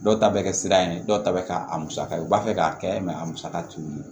Dɔw ta bɛ kɛ sira ye dɔw ta bɛ kɛ a musaka ye u b'a fɛ k'a kɛ a musaka t'u ye